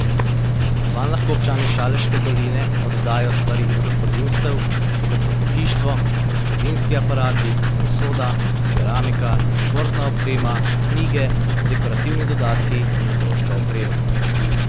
Vanj lahko občani Šaleške doline oddajo stvari iz gospodinjstev, kot so pohištvo, gospodinjski aparati, posoda, keramika, športna oprema, knjige, dekorativni dodatki in otroška oprema.